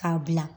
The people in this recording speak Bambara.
K'a bila